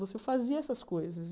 Você fazia essas coisas.